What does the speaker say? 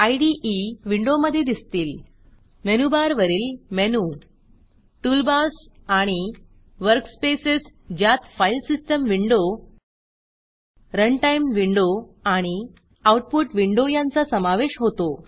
इदे विंडोमधे दिसतील मेनूबारवरील मेनू टूलबार्स आणि वर्कस्पेसेस ज्यात file system window runtime window आणि आऊटपुट विंडो यांचा समावेश होतो